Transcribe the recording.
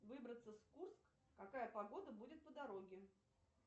выбраться в курск какая погода будет по дороге